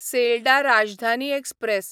Sealdah Rajdhani express